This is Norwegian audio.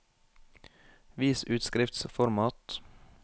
Vis utskriftsformat